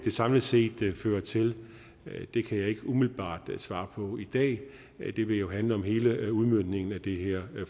det samlet set fører til kan jeg ikke umiddelbart svare på i dag det vil jo handle om hele udmøntningen af det her